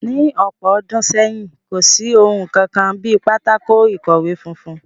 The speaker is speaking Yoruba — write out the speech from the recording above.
Ní ọ̀pọ̀ ọdún sẹ́yìn, kò sí ohun kankan bí pátákó-ikọwe funfun